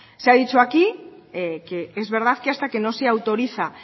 se ha dicho aquí que es verdad que hasta que no se autoriza